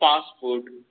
fast food